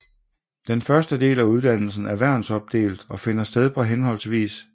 Den første del af uddannelsen er værnsopdelt og finder sted på hhv